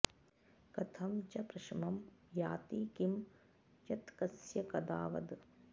कथं च प्रशमं याति किं यत्कस्य कदा वद